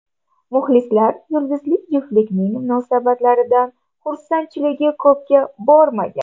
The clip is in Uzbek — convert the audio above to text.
Muxlislar yulduzli juftlikning munosabatlaridan xursandchiligi ko‘pga bormagan.